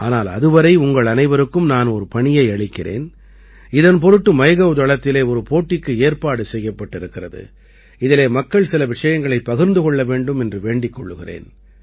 ஆனால் அதுவரை உங்கள் அனைவருக்கும் நான் ஒரு பணியை அளிக்கிறேன் இதன் பொருட்டு மைகவ் தளத்திலே ஒரு போட்டிக்கு ஏற்பாடு செய்யப்பட்டிருக்கிறது இதிலே மக்கள் சில விஷயங்களைப் பகிர்ந்து கொள்ள வேண்டும் என்று வேண்டிக் கொள்கிறேன்